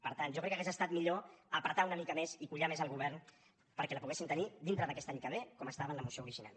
per tant jo crec que hauria estat millor apretar una mica més i collar més el govern perquè la poguéssim tenir dintre d’aquest any que ve com estava en la moció original